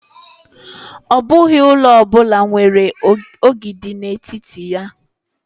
Ọ bụghị ụlọ ọ bụla nwere ogidi n'etiti ya.